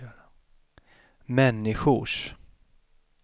människors